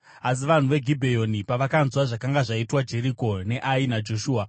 Asi vanhu veGibheoni pavakanzwa zvakanga zvaitwa Jeriko neAi naJoshua,